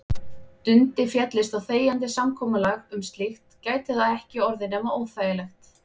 Dundi féllist á þegjandi samkomulag um slíkt gæti það ekki orðið nema óþægilegt.